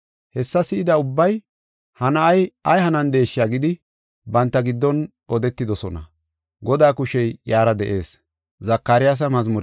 Hessa si7ida ubbay, “Ha na7ay ay hanandesha” gidi banta giddon odetidosona. Godaa kushey iyara de7ees.